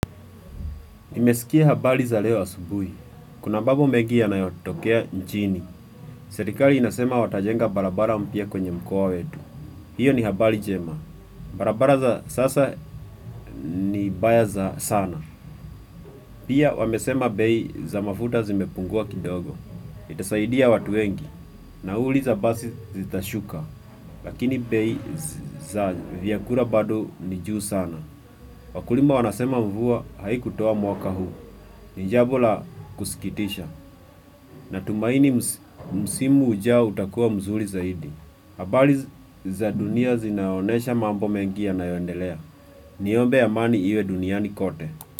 Nimesikia habari za leo asubui. Kuna mbabu mengi ya nayotokea ncini. Serikali inasema watajenga barabara mpya kwenye mkoa wetu. Hiyo ni habari njema. Barabara za sasa ni mbaya za sana. Pia wamesema bei za mafuta zimepungua kidogo. Itasaidia watu wengi. Nauli za basi zitashuka. Lakini bei za vyakula bado nijuu sana. Wakulima wanasema mvua haikuuoa mwaka huu. Ni jambo la kusikitisha. Natumaini msimu ujao utakuwa mzuri zaidi. Habari za dunia zinaoynesha mambo mengi yanayoendelea. Niombe amani iwe duniani kote.